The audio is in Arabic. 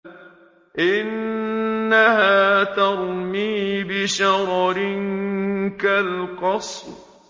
إِنَّهَا تَرْمِي بِشَرَرٍ كَالْقَصْرِ